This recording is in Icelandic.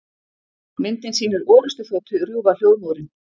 Myndin sýnir orrustuþotu rjúfa hljóðmúrinn.